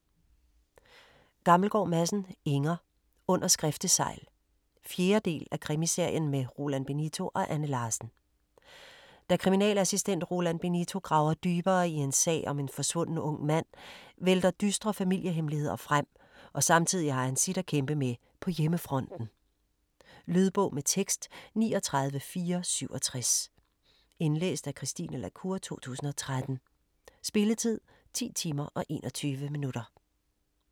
Gammelgaard Madsen, Inger: Under skriftesegl 4. del af Krimiserien med Roland Benito og Anne Larsen. Da kriminalassistent Roland Benito graver dybere i en sag om en forsvunden ung mand vælter dystre familiehemmeligheder frem, og samtidig har han sit at kæmpe med på hjemmefronten. Lydbog med tekst 39467 Indlæst af Christine la Cour, 2013. Spilletid: 10 timer, 21 minutter.